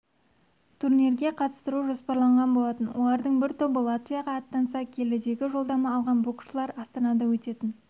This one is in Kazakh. турнирге қатыстыру жоспарланған болатын олардың бір тобы латвияға аттанса келідегі жолдама алған боксшылар астанада өтетін